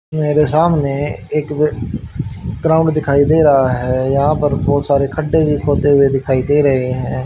मेरे सामने एक ग्राउंड दिखाई दे रहा है यहां पर बहुत सारे खड़े भी खोदे हुए दिखाई दे रहे हैं।